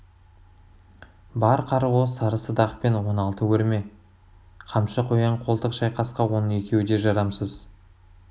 бар қаруы сары садақ пен он алты өрме қамшы қоян-қолтық шайқасқа оның екеуі де жарамсыз